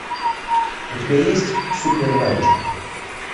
у тебя есть супер ранчо